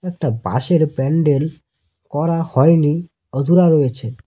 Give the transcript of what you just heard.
একটা প্যান্ডেল করা হয়নি অধুরা রয়েছে।